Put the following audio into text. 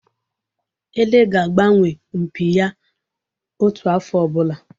Ele ga-agbanwe mpi ya otu afọ ọbụla